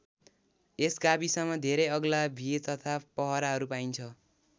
यस गाविसमा धेरै अग्ला भिर तथा पहराहरू पाइन्छ।